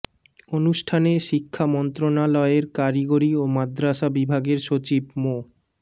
অনুষ্ঠানে শিক্ষা মন্ত্রণালয়ের কারিগরি ও মাদরাসা বিভাগের সচিব মো